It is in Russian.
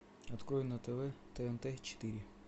открой на тв тнт четыре